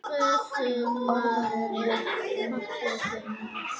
Hreytti orðunum út úr sér.